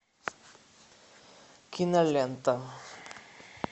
кинолента